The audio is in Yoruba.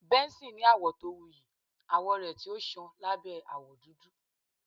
Benson ni awọ to wuyi awọ rẹ ti o ṣan labẹ awọ dudu